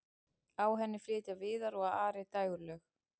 á henni flytja viðar og ari dægurlög